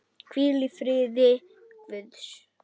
Hvíl í friði Guðs.